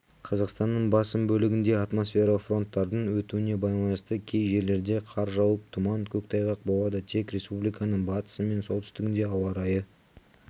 қазақстанның басым бөлігінде атмосфералық фронттардың өтуіне байланысты кей жерлерде қар жауып тұман көктайғақ болады тек республиканың батысы мен солтүстігінде ауа райы